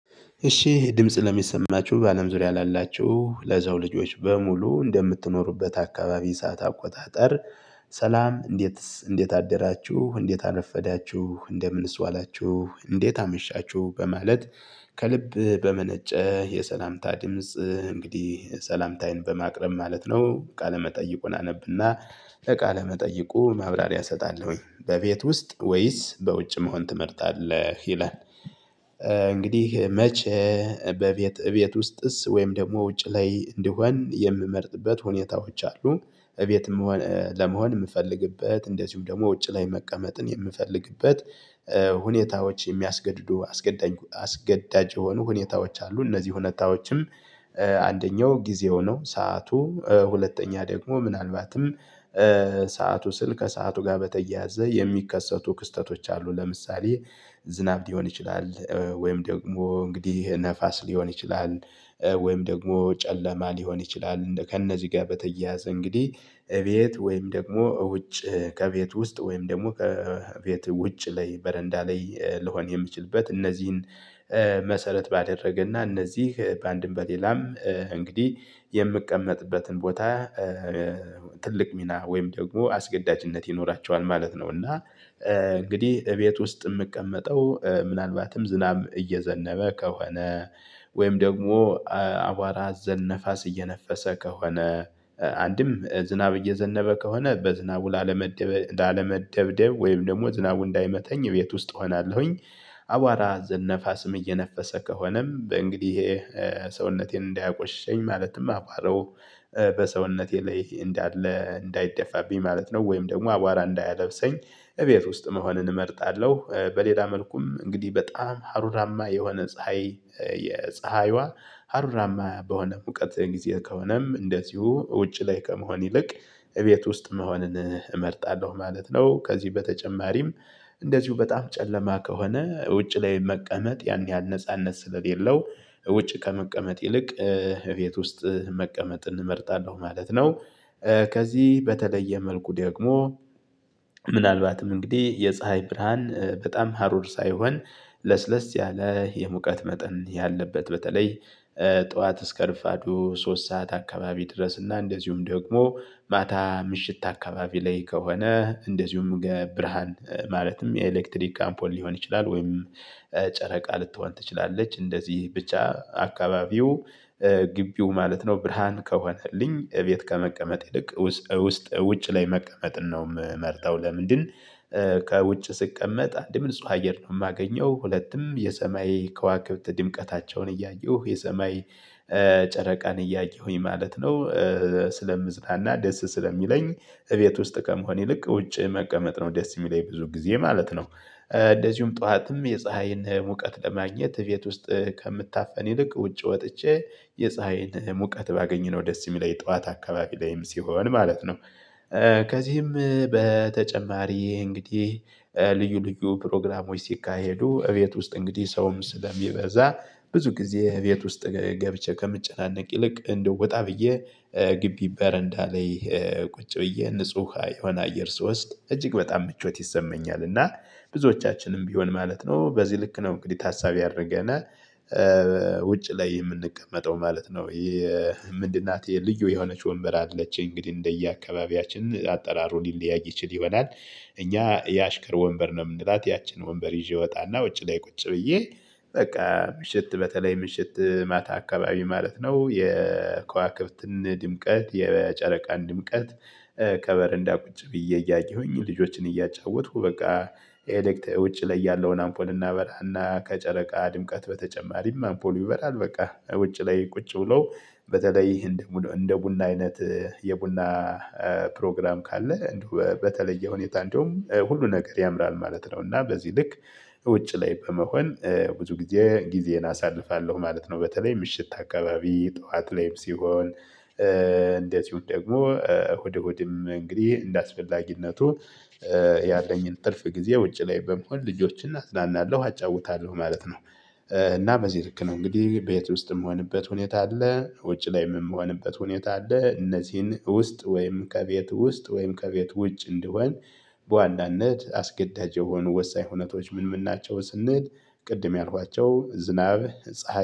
እሺ ድምጽ ለሚሰማችሁ በአለም ዙሪያ ላላችሁ ለሰው ልጆች በሙሉ እንደምትኖሩበት አካባቢ ሰዓት አቆጣጠር። ሰላም እንዴት እንዴት አደራችሁ እንዴት አረፈዳችሁ እንደምንስ ዋላችሁ እንዴት አመሻችሁ በማለት። ከልብ በመነጨ የሰላምታ ድምጽ እንግዲህ ሰላምታዬን በማቅረብ ማለት ነው። ቃለመጠይቁን አነብና ለቃለመጠይቁ ማብራሪያ እሰጣለሁኝ። በቤት ውስጥ ወይስ በውጭ መሆን ትመርጣለህ ይላል? እንግዲህ መቼ በቤት እቤት ውስጥስ ወይም ደግሞ ውጭ ላይ እንድሆን የምመርጥበት ሁኔታዎች አሉ። እቤት ለመሆን የምፈልግበት እንደዚሁ ደግሞ ውጭ ላይ መቀመጥን የምፈልግበት ሁኔታዎች የሚያስገድዱ አስገዳጅ የሆኑ ሁኔታዎች አሉ። እነዚህ ሁኔታዎችም አንደኛው ጊዜ ነው። ሰዓቱ ሁለተኛ ደግሞ ምናልባትም ሰዓቱ ስል ከሰአቱ ጋር በተያያዘ የሚከሰቱ ክስተቶች አሉ። ለምሳሌ ዝናብ ሊሆን ይችላል ወይም ደግሞ እንግዲህ ነፋስ ሊሆን ይችላል። ወይም ደግሞ ጨለማ ሊሆን ይችላል። ከእነዚህ ጋር በተያያዘ እንግዲህ እቤት ወይም ደግሞ ውጭ ከቤት ውስጥ ወይም ደግሞ ከቤት ውጭ ላይ በረንዳ ላይ ልሆን የምችልበት እነዚህን መሰረት ባደረገና እነዚህ በአንድም በሌላም እንግዲህ የምቀመጥበትን ቦታ ትልቅ ሚና ወይም ደግሞ አስገዳጅነት ይኖራቸዋል ማለት ነው። እና እንግዲህ እቤት ውስጥ የምቀመጠው ምናልባትም ዝናብ እየዘነበ ከሆነ ወይም ደግሞ አቧራ አዘል ነፋስ እየነፈሰ ከሆነ አንድም ዝናብ እየዘነበ ከሆነ በዝናቡ ላለመደብደብ ወይም ደግሞ ዝናቡ እንዳይመተኝ ቤት ውስጥ እሆናለሁኝ። አቧራ አዘል ነፋ ስም እየነፈሰ ከሆነም እንግዲህ ይሄ ሰውነቴን እንዳያቆሽሸኝ ማለትም አቧራው በሰውነቴ ላይ እንዳለ እንዳይደፋብኝ ማለት ነው። ወይም ደግሞ አቧራ እንዳያለብሰኝ እቤት ውስጥ መሆንን እመርጣለሁ። በሌላ መልኩም እንግዲህ በጣም ሀሩራማ የሆነ ፀሀይ የፀሀይዋ ሀሩራማ በሆነ ሙቀት ጊዜ ከሆነም እንደዚሁ ውጪ ላይ ከመሆን ይልቅ እቤት ውስጥ መሆንን እመርጣለሁ ማለት ነው። ከዚህ በተጨማሪም እንደዚሁ በጣም ጨለማ ከሆነ ውጪ ላይ መቀመጥ ያን ያህል ነጻነት ስለሌለው ውጭ ከመቀመጥ ይልቅ ቤት ውስጥ መቀመጥ እንመርጣለሁ ማለት ነው። ከዚህ በተለየ መልኩ ደግሞ ምናልባትም እንግዲህ የፀሀይ ብርሃን በጣም ሀሩር ሳይሆን ለስለስ ያለ የሙቀት መጠን ያለበት በተለይ ጠዋት እስከ ረፋዱ ሶስት ሰዓት አካባቢ ድረስ እና እንደዚሁም ደግሞ ማታ ምሽት አካባቢ ላይ ከሆነ እንደዚሁም ብርሃን ማለትም የኤሌክትሪክ አምፖል ሊሆን ይችላል። ወይም ጨረቃ ልትሆን ትችላለች እንደዚህ ብቻ አካባቢው ግቢው ማለት ነው። ብርሃን ከሆነልኝ ቤት ከመቀመጥ ይልቅ ውስጥ ውጭ ላይ መቀመጥን ነው የምመርጠው ለምንድነው? ከውጭ ስቀመጥ አንድም ንጹህ አየር ነው የማገኘው ሁለቱም የሰማይ ከዋክብት ድምቀታቸውን እያየሁ የሰማይ ጨረቃን እያየሁኝ ማለት ነው። ስለምዝናና ደስ ስለሚለኝ እቤት ውስጥ ከመሆን ይልቅ ውጪ መቀመጥ ነው ደስ የሚለኝ ብዙ ጊዜ ማለት ነው። እንደዚሁም ጠዋትም የፀሀይን ሙቀት ለማግኘት ቤት ውስጥ ከምታፈን ይልቅ ውጪ ወጥቼ የፀሀይን ሙቀት ባገኝ ነው ደስ የሚለኝ ጠዋት አካባቢ ላይም ሲሆን ማለት ነው። ከዚህም በተጨማሪ እንግዲህ ልዩ ልዩ ፕሮግራሞች ሲካሄዱ እቤት ውስጥ እንግዲህ ሰውም ስለሚበዛ ብዙ ጊዜ እቤት ውስጥ ገብቼ ከምጨናነቅ ይልቅ እንደው ወጣ ብዬ ግቢ በረንዳ ላይ ቁጭ ብዬ ንጹህ የሆነ አየር ስወስድ እጅግ በጣም ምቾት ይሰማኛል። እና ብዙዎቻችንም ቢሆን ማለት ነው በዚህ ልክ ነው እንግዲህ ታሳቢ አደረገና ውጭ ላይ የምንቀመጠው ማለት ነው። ምንድን? ናት የልዩ የሆነች ወንበር አለች እንግዲህ እንደየአካባቢያችን አጠራሩ ሊለያች ይችል ይሆናል። እኛ የአሽከር ወንበር ነው የምንላት ያችን ወንበር ይዤ ወጣና ውጪ ላይ ቁጭ ብዬ በቃ ምሽት በተለይ ምሽት ማታ አካባቢ ማለት ነው የከዋክብትን ድምቀት የጨረቃን ድምቀት። ከበረንዳ ቁጭ ብዬ እያየሁኝ ልጆችን እያጫወትኩ በቃ ኤሌክት ውጪ ላይ ያለውን አምፖል እናበራና ከጨረቃ ድምቀት በተጨማሪም አምፖሉ ይበራል። በቃ ውጪ ላይ ቁጭ ብሎ በተለይ እንደ እንደ ቡና አይነት የቡና ፕሮግራም ካለ በተለየ ሁኔታ እንደውም ሁሉ ነገር ያምራል ማለት ነው። እና በዚህ ልክ ውጭ ላይ በመሆን ብዙ ጊዜ ጊዜን አሳልፋለሁ ማለት ነው። በተለይ ምሽት አካባቢ ጠዋት ላይም ሲሆን እንዚሁ ደግሞ እሁድ እሁድም እንግዲህ እንደአስፈላጊነቱ ያለኝን ትርፍ ጊዜ ውጪ ላይ በመሆን ልጆችን አዝናናለሁ አጫውታለሁ ማለት ነው። እና በዚህ ልክ ነው እንግዲህ ቤት ውስጥም የምሆንበት ሁኔታ አለ። ውጪ ላይም የምሆንበት ሁኔታ አለ። እነዚህን ውስጥ ወይም ከቤት ውስጥ ወይም ከቤት ውጭ እንድሆን በዋናነት አስገዳጅ የሆኑ ወሳኝ ሁኔታዎች ምን ምን ናቸው ስንል። ቅድም ያልኳቸው ዝናብ ፀሀይ